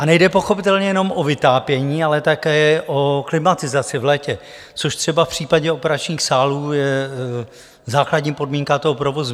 A nejde pochopitelně jenom o vytápění, ale také o klimatizaci v létě, což třeba v případě operačních sálů je základní podmínka toho provozu.